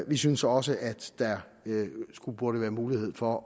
vi synes også at der burde være mulighed for